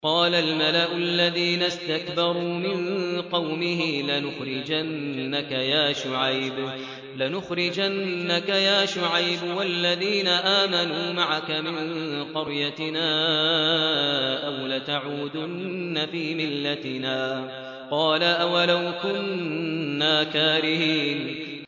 ۞ قَالَ الْمَلَأُ الَّذِينَ اسْتَكْبَرُوا مِن قَوْمِهِ لَنُخْرِجَنَّكَ يَا شُعَيْبُ وَالَّذِينَ آمَنُوا مَعَكَ مِن قَرْيَتِنَا أَوْ لَتَعُودُنَّ فِي مِلَّتِنَا ۚ قَالَ أَوَلَوْ كُنَّا كَارِهِينَ